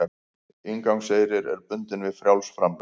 Inngangseyrir er bundinn við frjáls framlög